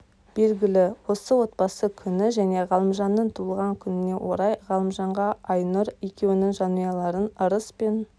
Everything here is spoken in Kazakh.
белгілі осы отбасы күні және ғалымжанның туылған күніне орай ғалымжанға айнұр екеуіңнің жанұяларың ырыс пен